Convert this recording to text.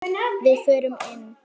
Við förum inn!